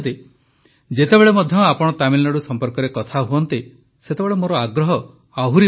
ଯେତେବେଳେ ମଧ୍ୟ ଆପଣ ତାମିଲନାଡୁ ସମ୍ପର୍କରେ କଥା ହୁଅନ୍ତି ସେତେବେଳେ ମୋର ଆଗ୍ରହ ଆହୁରି ବଢ଼ିଯାଏ